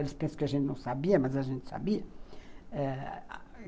Eles pensam que a gente não sabia, mas a gente sabia.